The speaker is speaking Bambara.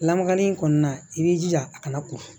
Lamagali in kɔni na i b'i jija a kana ko